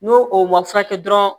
N'o o ma furakɛ dɔrɔn